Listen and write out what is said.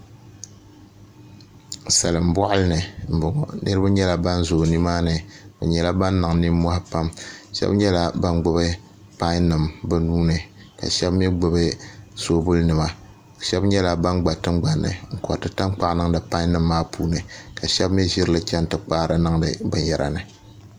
Salin boɣali ni n boŋo niraba nyɛla ban zooi nimaani bi nyɛla ban niŋ nimmohi pam shab nyɛla ban gbubi pai nim bi nuuni ka shab mii gbuni soobuli nima shab nyɛla ban gba tingbanni n koriti tankpaɣu niŋdi pai nim maa puuni ka shab mii ʒirili chɛni ti kpaari niŋdi binyɛra ni